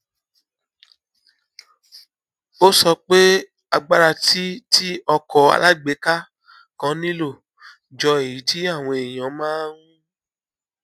ó sọ pé agbára tí tí ọkọ alágbèéká kan nílò jọ èyí tí àwọn èèyàn máa ń